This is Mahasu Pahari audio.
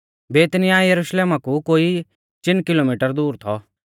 बेतनिय्याह यरुशलेमा कु कोई चिन किलोमिटर दूर थौ